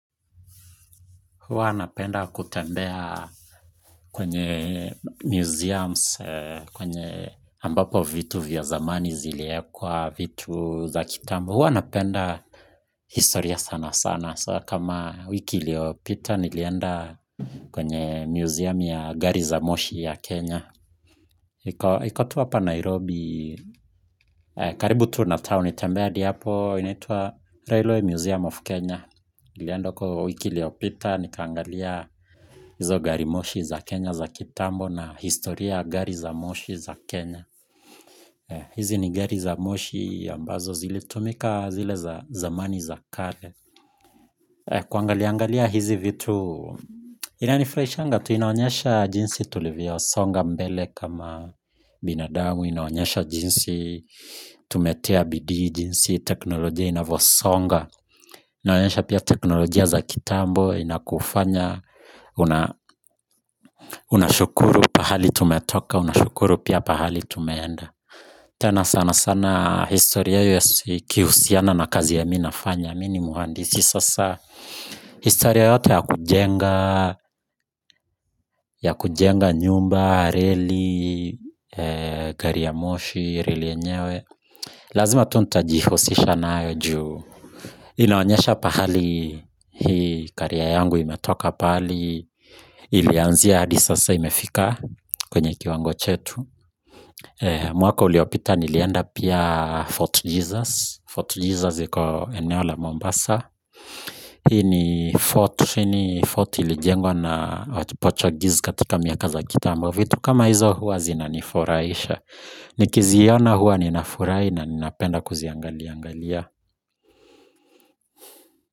Huwa anapenda kutembea kwenye museums ambapo vitu vya zamani ziliwekwa, vitu za kitambo. Huwa napenda historia sana sana, kama wiki iliyopita nilienda kwenye museum ya gari za moshi ya Kenya. Iko tu hapa Nairobi karibu tu na town tembea hadi hapo inaitwa Railway museum of Kenya. Nilienda huko wiki iliyopita, nikaangalia hizo gari moshi za Kenya za kitambo na historia ya gari za moshi za Kenya. Hizi ni gari za moshi ambazo zilitumika zile zamani za kale. Kuangaliangalia hizi vitu, inanifurahishanga tu inaonyesha jinsi tulivyosonga mbele kama binadamu, inaonyesha jinsi tumetia bidii, jinsi teknolojia inavyosonga inaonyesha pia teknolojia za kitambo, inakufanya unashukuru pahali tumetoka, unashukuru pia pahali tumeenda tena sana sana historia yakihusiana na kazi yenye mimi nafanya, mimi ni muhandisi. Sasa historia yote ya kujenga, ya kujenga nyumba, reli, gari ya moshi, reli yenyewe lazima tu nitajiforce nayo juu inaonyesha pahali hii carrier yangu imetoka pahali ilianzia hadi sasa imefika kwenye kiwango chetu mwaka uliopita nilienda pia Fort Jesus. Fort Jesus iko eneo la Mombasa. Hii ni Fort ilijengwa na Portuguese katika miaka za kitambo vitu kama hizo huwa zinanifurahisha. Nikiziona huwa ninafurahi na ninapenda kuziangaliaangalia.